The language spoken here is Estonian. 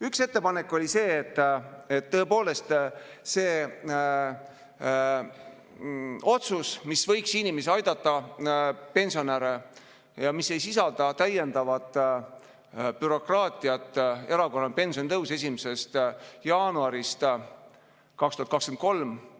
Üks ettepanek oli see otsus, mis võiks inimesi aidata, pensionäre, ja mis ei sisalda täiendavat bürokraatiat, erakorraline pensionitõus 1. jaanuarist 2023.